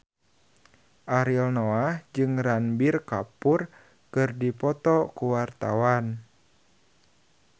Ariel Noah jeung Ranbir Kapoor keur dipoto ku wartawan